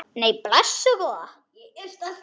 Nei, blessuð góða.